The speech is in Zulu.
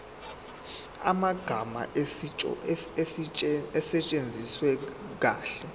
amagama asetshenziswe kahle